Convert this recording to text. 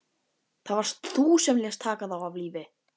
Það varst þú sem lést taka þá af lífi.